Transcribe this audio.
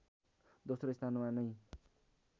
दोस्रो स्थानमा नै